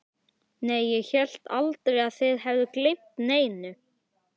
Nei, ég hélt aldrei að þið hefðuð gleymt neinu.